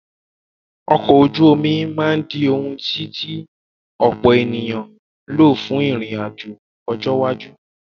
Ọkọ̀ ojú omi máa di ohùn tí tí ọ̀pọ̀ ènìyàn ń lò fún ìrìn àjò ní ọjọ́ iwájú.